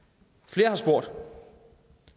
flere har spurgt